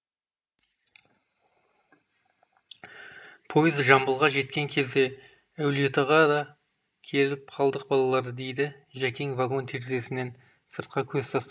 пойыз жамбылға жеткен кезде әулиеатаға да келіп те қалдық балалар дейді жәкең вагон терезесінен сыртқа көз тастап